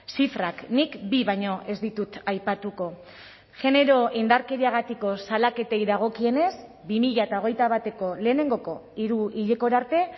zifrak nik bi baino ez ditut aipatuko genero indarkeriagatiko salaketei dagokienez bi mila hogeita bateko lehenengoko hiruhilekora arte